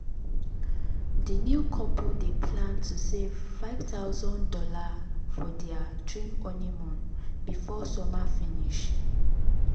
the new couple dey plan to save five thousand dollars for their dream honeymoon before summer finish. summer finish.